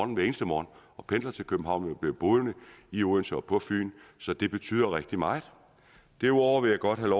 hver eneste morgen pendler til københavn men bliver boende i odense og på fyn så det betyder rigtig meget derudover vil jeg godt have